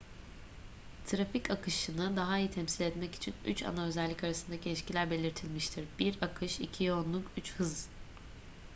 trafik akışını daha iyi temsil etmek için üç ana özellik arasındaki ilişkiler belirlenmiştir: 1 akış 2 yoğunluk ve 3 hız